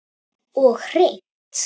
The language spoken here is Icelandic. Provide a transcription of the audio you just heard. Og hreint.